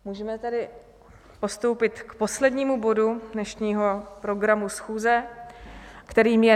Můžeme tedy postoupit k poslednímu bodu dnešního programu schůze, kterým je